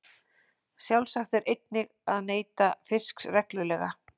Sjálfsagt er einnig að neyta fisks reglulega.